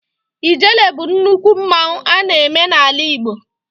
Ijele bụ nnukwu mmanwụ a na-eme n'ala Igbo.